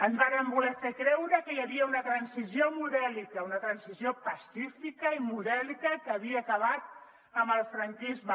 ens varen voler fer creure que hi havia una transició modèlica una transició pacífica i modèlica que havia acabat amb el franquisme